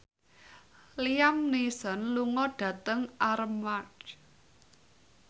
Liam Neeson lunga dhateng Armargh